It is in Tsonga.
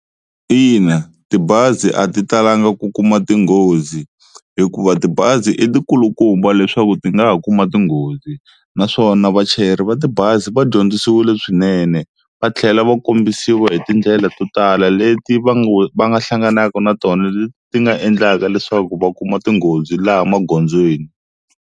Ina tibazi a ti talanga ku kuma tinghozi hikuva tibazi i tikulukumba leswaku ti nga ha kuma tinghozi naswona vachayeri va tibazi va dyondzisiwile swinene, va tlhela va kombisiwa hi tindlela to tala leti va va nga hlanganaka na tona leti nga endlaka leswaku va kuma tinghozi laha magondzweni.